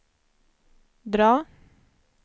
drag